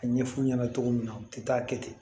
A ɲɛ f'u ɲɛna cogo min na u tɛ taa kɛ ten